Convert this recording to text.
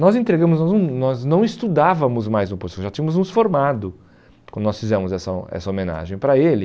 Nós entregamos, nós não nós não estudávamos mais no posto, já tínhamos nos formado quando nós fizemos essa ho essa homenagem para ele.